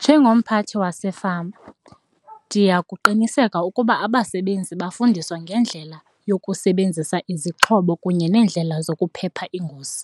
Njengomphathi wasefama ndiya kuqinisekisa ukuba abasebenzi bafundiswe ngendlela yokusebenzisa izixhobo kunye nendlela zokuphepha ingozi.